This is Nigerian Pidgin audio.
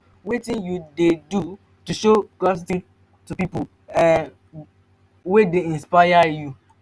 wetin you dey do to show gratitude to people wey um dey inspire you?